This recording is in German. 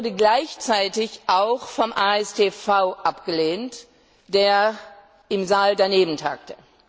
Er wurde gleichzeitig auch vom AStV abgelehnt, der im Saal daneben tagte.